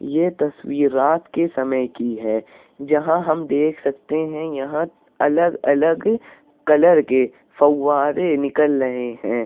यह तस्वीर रात के समय की है। जहाँ हम देख सकते है यहाँ अलग अलग कलर के फब्बारे निकल रहे हैं।